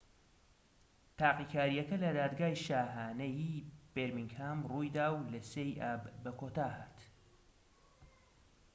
تاقیکاریەکە لە دادگای شاهانەیی بێرمینگهام ڕوویدا و لە 3ی ئاب بەکۆتا هات